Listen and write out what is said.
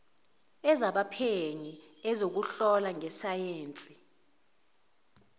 ezabaphenyi ezokuhlola ngesayensi